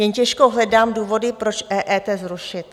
Jen těžko hledám důvody, proč EET zrušit.